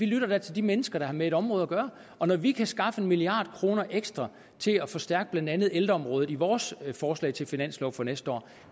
lytter til de mennesker der har med et område at gøre og når vi kan skaffe en milliard kroner ekstra til at forstærke blandt andet ældreområdet i vores forslag til finanslov for næste år